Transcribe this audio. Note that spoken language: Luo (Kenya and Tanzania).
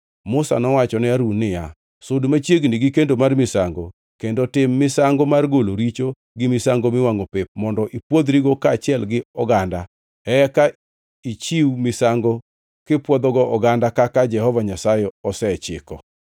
Musa nowacho ne Harun niya, “Sud machiegni gi kendo mar misango, kendo itim misango mar golo richo, gi misango miwangʼo pep, mondo ipwodhrigo kaachiel gi oganda; eka ichiw misango kipwodhogo oganda kaka Jehova Nyasaye osechiko.”